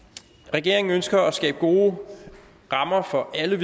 regeringen ønsker at skabe gode rammer for alle